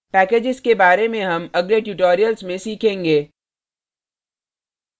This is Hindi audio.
packages के बार में हम अगले tutorials में सीखेंगे